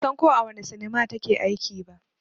Ban san ko a wane sinima ta ke aiki ba